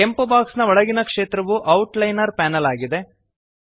ಕೆಂಪು ಬಾಕ್ಸ್ನ ಒಳಗಿನ ಕ್ಷೇತ್ರವು ಔಟ್ಲೈನರ್ ಪ್ಯಾನೆಲ್ ಆಗಿದೆ